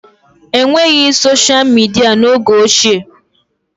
E nweghị soshịa midịa n'oge ochie